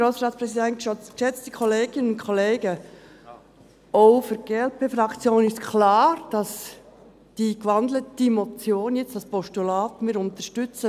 Auch für die Glp-Fraktion ist klar, dass wir die gewandelte Motion jetzt als Postulat unterstützen.